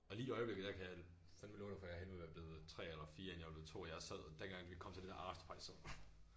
Og lige i øjeblikket der kan jeg fandme love dig for jeg hellere ville have været blevet 3 eller 4 end jeg var blevet 2 jeg sad dengang vi kom til det der afterparty sådan